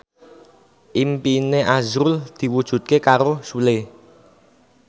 impine azrul diwujudke karo Sule